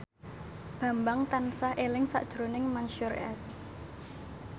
Bambang tansah eling sakjroning Mansyur S